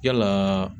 Yalaa